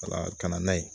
Wala ka na n'a ye